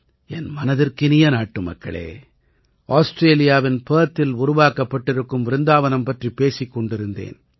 என் மனதிற்கினிய நாட்டுமக்களே ஆஸ்ட்ரேலியாவின் பெர்த்தில் உருவாக்கப்பட்டிருக்கும் விருந்தாவனம் பற்றிப் பேசிக் கொண்டிருந்தேன்